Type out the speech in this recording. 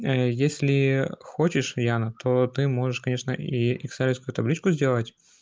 если хочешь яна то ты можешь конечно и екселевскую табличку сделать